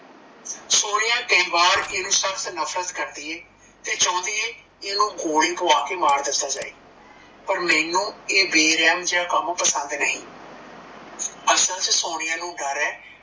ਸੋਨੀਆ ਕਈ ਵਾਰ ਇਦੀ ਸਖਤ ਨਫ਼ਰਤ ਕਰਦੀਏ ਤੇ ਚਾਉਂਦੀ ਏ ਇਨੂੰ ਗੋਲੀ ਖਵਾ ਕੇ ਮਾਰ ਦਿੱਤਾ ਜਾਏ, ਪਰ ਮੈਂਨੂੰ ਆ ਬੇਰਹਮ ਜੀਆ ਕੰਮ ਪਸੰਦ ਨਹੀਂ ਅਸਲ ਚ ਸੋਨੀਆ ਨੂੰ ਡਰ ਏ